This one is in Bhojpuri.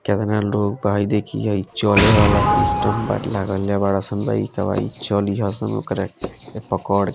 केतना लोग बा इ देखिए इ चले वाला सिस्टम बा लगेले बाड़े सन लइकाबा इ चलहिये सन ओकरा के पकड़ --